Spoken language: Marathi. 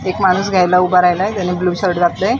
एक माणूस घ्यायला उभा राहिलाय त्याने ब्ल्यू शर्ट घातलयं.